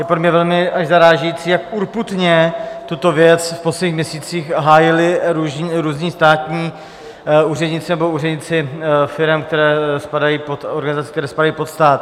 Je pro mě velmi až zarážející, jak urputně tuto věc v posledních měsících hájili různí státní úředníci nebo úředníci firem, které spadají pod organizace, které spadají pod stát.